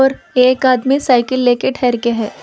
और एक आदमी सायकिल लेके ठहर के है।